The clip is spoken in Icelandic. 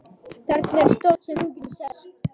Þarna er stóll sem þú getur sest á.